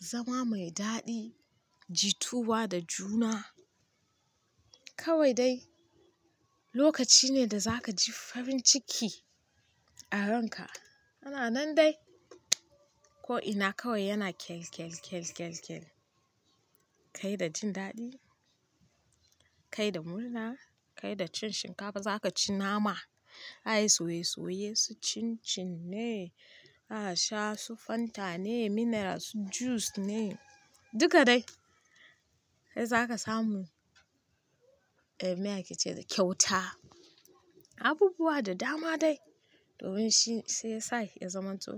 zama mai daɗi, jitowa da juna. Kawai dai lokaci ne da za ka ji farin ciki a ranka. Ana nan dai ko'ina kawai yana kyalkyalkyalkyal. Kai da jin daɗi, kai da murna, kai da cin shinkafa za ka ci nama, za a yi soye soye su cin cin ne, za a sha su fanta ne, mineral su juice ne duka dai. Sai za ka samu eh me ake ce da kyauta abubuwa da dama dai domin shi sai ya zamanto.